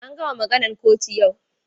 An gama maganan kotun yau.